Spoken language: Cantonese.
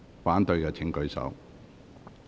反對的請舉手。